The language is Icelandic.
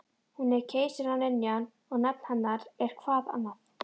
Hún er keisaraynjan og nafn hennar er-hvað annað?